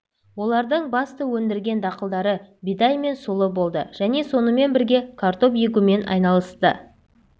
олардың басты өндірген дақылдары бидай мен сұлы болды және сонымен бірге картоп егумен айналысты